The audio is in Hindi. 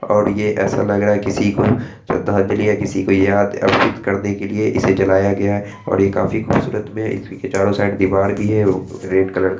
ओर ये ऎसा लग रहा है किसी को श्रद्धांजलि या किसी को याद अर्पित करने के लिए इसे जलाया गया है और ये काफी खूबसूरत मे है इसकी चारो साइड दीवार भी है रेड कलर का --